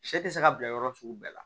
Sɛ tɛ se ka bila yɔrɔ sugu bɛɛ la